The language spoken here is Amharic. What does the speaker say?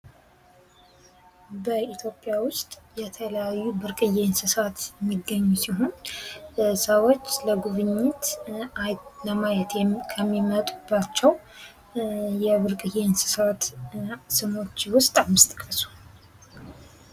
በኢትዮጵያ ውስጥ የተለያዩ ብርቅዬ እንስሳት የሚገኙ ሲሆን ለሰዎች ለጉብኝት ለማየት ከሚመጡባቸው የብርቅዬ እንስሳት ስሞች ውስጥ አምስት ጥቀሱ?